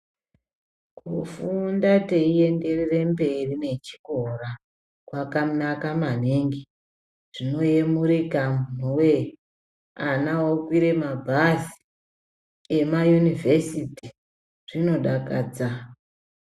Kufunda teienderwre mberi nechikora kwakanaka maningi, zvinoyemurika imwiwee ana okwire mabhazi emayunivhesiti. Zvinodakadza.